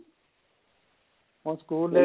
ਹੁਣ score level